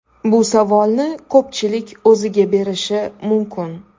Bu savolni ko‘pchilik o‘ziga berishi mumkin.